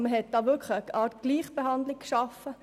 Damit wurde eine Art von Gleichbehandlung geschaffen.